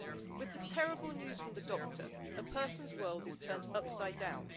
With the terrible news from the doctor, a person's world is turned upside down.